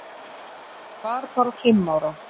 Hún var bara fimm ára.